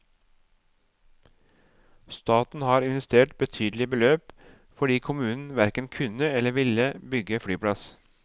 Staten har investert betydelige beløp fordi kommunen hverken kunne eller ville bygge flyplass.